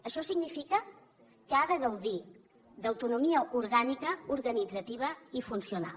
això significa que ha de gaudir d’autonomia orgànica organitzativa i funcional